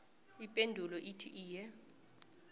ipendulo ithi iye